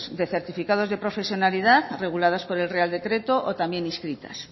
de certificados de profesionalidad reguladas por el real decreto o también inscritas